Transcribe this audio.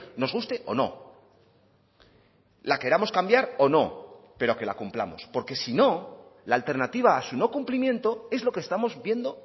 nos guste o no la queramos cambiar o no pero que la cumplamos porque si no la alternativa a su no cumplimiento es lo que estamos viendo